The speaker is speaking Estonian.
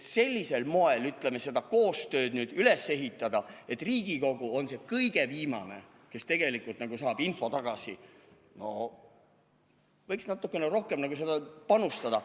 Sellisel moel, ütleme, seda koostööd üles ehitada, et Riigikogu on see kõige viimane, kes tegelikult saab info tagasi – võiks natuke rohkem panustada.